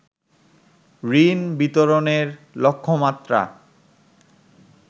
ঋণ বিতরণের লক্ষ্যমাত্রা